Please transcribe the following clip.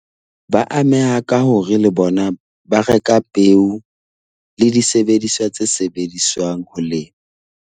Ba ameha ka hore le bona ba reka peo le disebediswa tse sebediswang ho lema.